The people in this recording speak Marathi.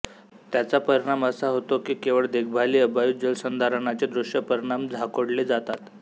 त्याचा परिणाम असा होतो की केवळ देखभालीअभावी जलसंधारणाचे दृश्य परिणाम झाकोळले जातात